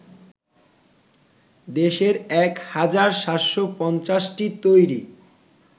দেশের ১ হাজার ৭৫০টি তৈরী